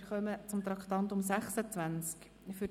Wir kommen zu Traktandum 26, dem Postulat «